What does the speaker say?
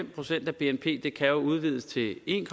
procent af bnp kan jo udvides til en